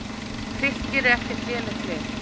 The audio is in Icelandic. Fylkir er ekkert lélegt lið.